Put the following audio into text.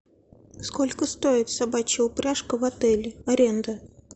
сколько стоит собачья упряжка в отеле аренда